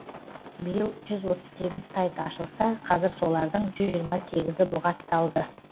биыл жүз отыз сегіз сайт ашылса қазір солардың жүз жиырма сегізі бұғатталды